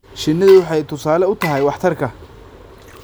Shinnidu waxay tusaale u tahay waxtarka.